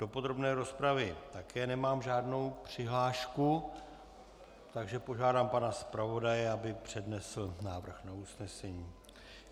Do podrobné rozpravy také nemám žádnou přihlášku, takže požádám pana zpravodaje, aby přednesl návrh na usnesení.